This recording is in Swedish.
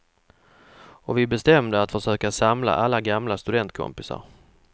Och vi bestämde att försöka samla alla gamla studentkompisar.